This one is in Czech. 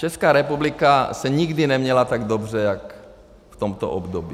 Česká republika se nikdy neměla tak dobře jak v tomto období.